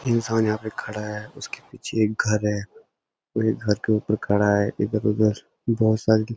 इंसान यहाँ पे खड़ा है उसके पीछे एक घर है वो एक घर के ऊपर खड़ा है इधर उधर बहोत सारी --